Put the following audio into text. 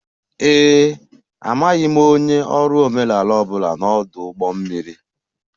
Ee e, amaghị m onye ọrụ omenala ọ bụla n'ọdụ ụgbọ mmiri